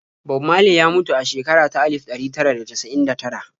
Bob Marley ya mutu a shekara ta alif ɗari tara da casa'in da tara.